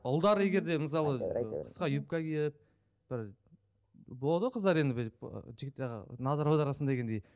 ұлдар егер де мысалы қысқа юбка киіп бір болады ғой қыздар енді бүйтіп жігіт ы назар аударасың дегендей